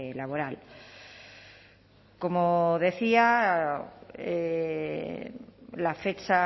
laboral como decía la fecha